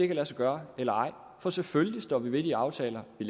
kan lade sig gøre eller ej for selvfølgelig står vi ved de aftaler vi